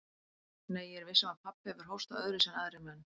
Nei, ég er viss um að pabbi hefur hóstað öðruvísi en aðrir menn.